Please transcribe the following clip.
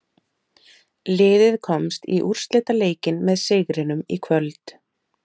Liðið komst í úrslitaleikinn með sigrinum í kvöld.